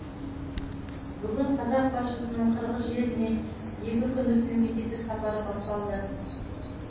бүгін қазақ басшысының қырғыз жеріне екі күндік мемлекеттік сапары басталды